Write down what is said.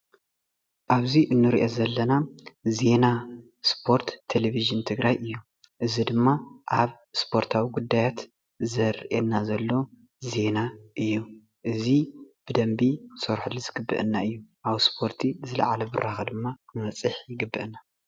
ኣብዙይ እንሪእ ዘለና ዜና ስፖርት ቴሌቭዥን ትግራይ እዩ። እዚ ድማ ኣብ ሰፖርቲ ጉዳያት ዘሪ ኤናዘሎ ጉዳያት እዩ እዚ ብደንብ ኢ ክንሰርሀሉ ዝግበአና እዩ ብዝላዓለ ብራከ ድማ ክንበፅሕ ይግበአና።